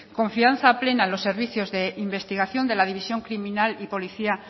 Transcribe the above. confianza plena en los servicios de investigación de la división criminal y policía